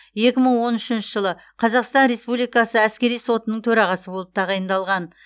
екі мың он үшінші жылы қазақстан республикасы әскери сотының төрағасы болып тағайындалған